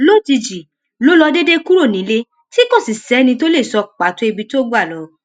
lójijì ló ló déédéé kúrò nílé tí kò sì sẹni tó lè sọ pàtó ibi tó gbà lọ